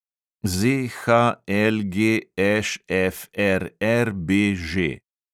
ZHLGŠFRRBŽ